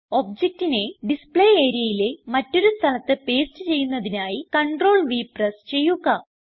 ഒബ്ജക്റ്റിനെ ഡിസ്പ്ലേ areaയിലെ മറ്റൊരു സ്ഥലത്ത് പേസ്റ്റ് ചെയ്യുന്നതിനായി CTRLV പ്രസ് ചെയ്യുക